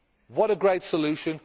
What a great solution.